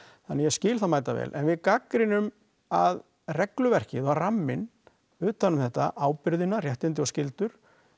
þannig ég skil það mæta vel en við gagnrýnum að regluverkið var ramminn utanum þetta ábyrðina réttindin og skyldur